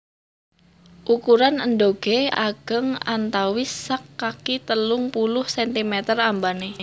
Ukuran endhoge ageng antawis sak kaki telung puluh centimeter ambane